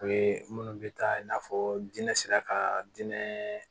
O ye minnu bɛ taa i n'a fɔ diinɛ sera ka diinɛ